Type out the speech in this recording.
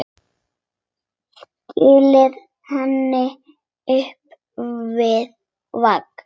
Stillir henni upp við vegg.